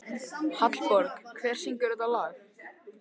Hallborg, hver syngur þetta lag?